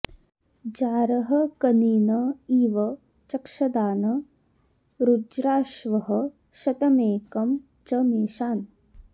जा॒रः क॒नीन॑ इव चक्षदा॒न ऋ॒ज्राश्वः॑ श॒तमेकं॑ च मे॒षान्